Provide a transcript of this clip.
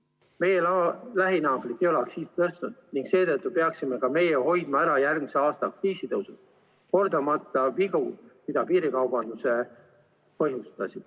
Meie lähinaabrid ei ole aktsiisi tõstnud ning seetõttu peaksime ka meie hoidma ära järgmise aasta aktsiisitõusud, kordamata vigu, mida piirikaubandus põhjustas.